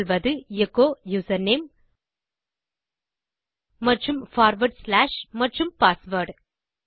சொல்வது echo username மற்றும் forward slash மற்றும் பாஸ்வேர்ட்